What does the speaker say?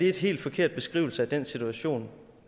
helt forkert beskrivelse af den situation